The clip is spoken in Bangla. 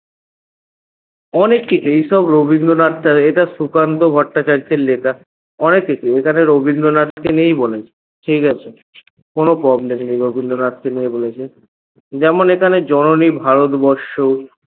অনেককিছু এই সব রবিন্দ্রনাথ এটা সুকান্ত ভট্টাচার্যের লেখা অনেককিছু এখানে রবিন্দ্রনাথকে নিয়েই বলেছে ঠিকাছে? কোনো problem নেই রবিন্দ্রনাথকে নিয়ে বলেছে যেমন এখানে জননী ভারতবর্ষ